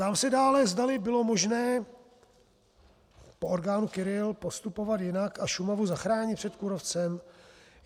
Ptám se dále, zdali bylo možné po orkánu Kyrill postupovat jinak a Šumavu zachránit před kůrovcem.